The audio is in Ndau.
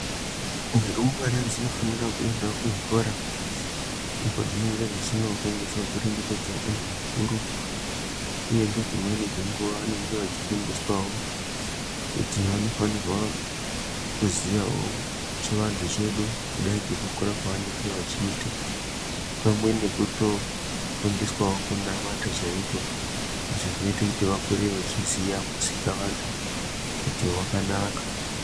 Ndumurwa dzinofana kufundira kuenda kuzvikora, ndiko kwadzinenge kwadzinofundiswa kuremekedza antu akuru uye nedzimweni dzenguwa vanenge vachifundiswawo kuti vanofanirwa kuziya wo chivanhu chedu kudai ngekukura kwavanenge vachiita pamwe nekutofundiswawo kunamata chaiko. Ndizvo zvinoita vakure vachiziya kuita vantu zvakanaka.